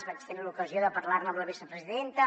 vaig tenir l’ocasió de parlar ne amb la vicepresidenta